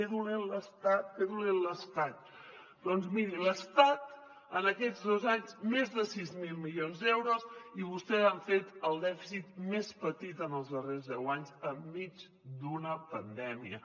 que dolent l’estat que dolent l’estat doncs miri l’estat en aquests dos anys més de sis mil milions d’euros i vostès han fet el dèficit més petit en els darrers deu anys enmig d’una pandèmia